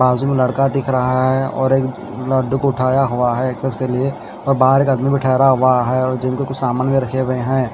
बाजू मैं लड़का दिख रहा है और एक और एक लड्डू को उठाया हुए है टेस्ट के लिए और बाहर का आदमी भी ठेरा हुए हैं और जिम के कूच सामान भी रखे हुए हैं।